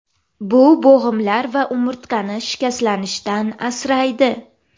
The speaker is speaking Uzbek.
Bu bo‘g‘imlar va umurtqani shikastlanishdan asraydi.